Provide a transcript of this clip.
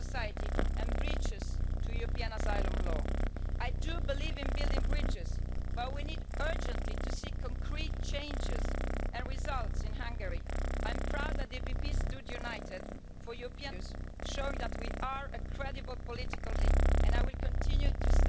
With this motion you are using the power of the European Parliament improperly to interfere in the daily life of the Hungarians and how the Hungarian Government rules their country. To invoke Article 7 in this way is the act of a self serving bully. Like those aristocrats, you have learned nothing and you have forgotten nothing.